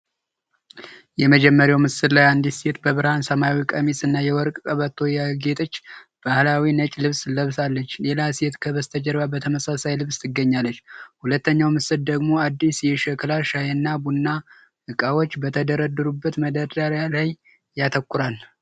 የመጀመሪያው ምስል ላይ አንዲት ሴት በብርሃን ሰማያዊ ቀሚስ እና የወርቅ ቀበቶ ያጌጠች ባህላዊ ነጭ ልብስ ለብሳለች። ሌላ ሴት ከበስተጀርባ በተመሳሳይ ልብስ ትገኛለች። ሁለተኛው ምስል ደግሞ አዲስ የሸክላ ሻይና ቡና እቃዎች በተደረደሩበት መደርደሪያ ላይ ያተኩራል።